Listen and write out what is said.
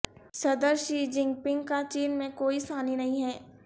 صدر Xi Jinping کا چین میں کوئی ثانی نہیں ہے